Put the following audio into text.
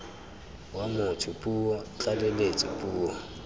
wa motho puo tlaleletso puo